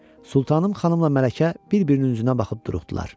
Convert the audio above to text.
Sultanım xanımla Mələkə bir-birinin üzünə baxıb duruxdular.